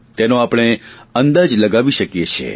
તેનો આપણે અંદાજ લગાવી શકીએ છીએ